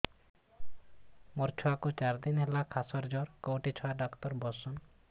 ମୋ ଛୁଆ କୁ ଚାରି ଦିନ ହେଲା ଖାସ ଜର କେଉଁଠି ଛୁଆ ଡାକ୍ତର ଵସ୍ଛନ୍